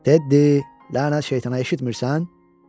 Teddi, lənət şeytana, eşitmirsən?